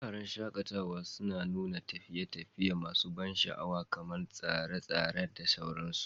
Wuraren shaƙatawa suna nuna tafiye-tafiye masu ban sha'awa kamar tseren tsere da sauransu.